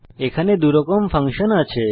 এখানে দুই ধরনের ফাংশন আছে